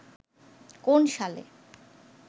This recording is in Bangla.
কোন সালে